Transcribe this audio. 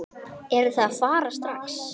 Eruð þið að fara strax?